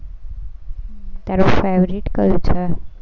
તારું favorite કયું છે?